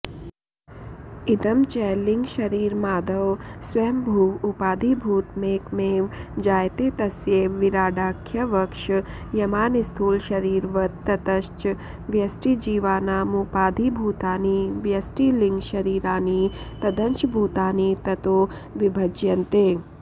इदं च लिङ्गशरीरमादौ स्वयंभुव उपाधिभूतमेकमेव जायते तस्यैव विराडाख्यवक्ष्यमाणस्थूलशरीरवत् ततश्च व्यष्टिजीवानामुपाधिभूतानि व्यष्टिलिङ्गशरीराणि तदंशभूतानि ततो विभज्यन्ते